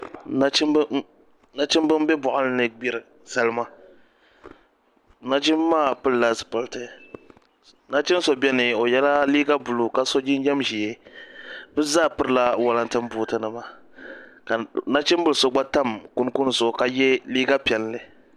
Nachimbi n bɛ boɣali ni n gbiri salima nachimbi maa pilila zipiliti nachin so biɛni o yɛla liiga buluu ka so jinjɛm ʒiɛ bi zaa pirila walatin buuti nima ka nachimbili so gba tam kunkun zuɣu ka yɛ liiga piɛlli